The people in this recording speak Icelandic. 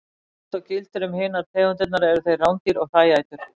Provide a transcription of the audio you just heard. Líkt og gildir um hinar tegundirnar eru þeir rándýr og hræætur.